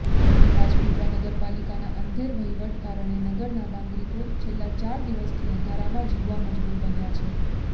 રાજપીપળા નગરપાલિકાના અંધેર વહીવટને કારણે નગરના નાગરિકો છેલ્લાં ચાર દિવસથી અંધારામાં જીવવા મજબૂર બન્યા છે